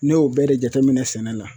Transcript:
Ne y'o bɛɛ de jateminɛ sɛnɛ la